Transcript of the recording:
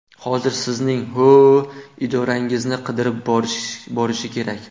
Hozir sizning ho‘-o‘ idoralaringizni qidirib borishi kerak.